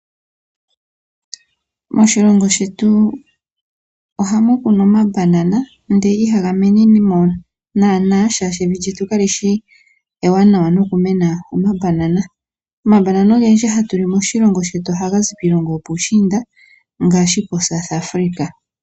Moshilongo shetu ohamu kunwa omambanana ndele ihaga mene mo naana, oshoka evi lyetu kalishi ewanawa no kumena omambanana. Omambanana ogendji hatu li moshilongo ohaga zi kiilongo yopuushiinda ngaashi ko South Africa.